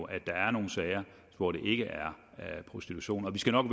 at der er nogle sager hvor det ikke er prostitution vi skal nok